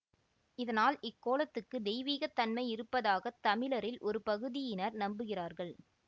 இதனால் இக் கோலத்துக்கு தெய்வீகத் தன்மை இருப்பதாக தமிழரில் ஒரு பகுதியினர் நம்புகிறார்கள்